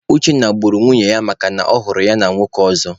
Uchenna gburu nwunye ya makana ọ hụrụ ya na nwoke ọzọ.